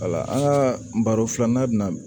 an ka baro filanan bɛna